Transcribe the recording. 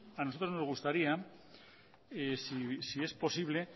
a nosotros nos gustaría si es posible